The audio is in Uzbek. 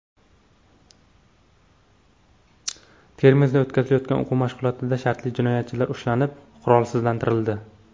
Termizda o‘tkazilgan o‘quv mashg‘ulotida shartli jinoyatchilar ushlanib, qurolsizlantirildi .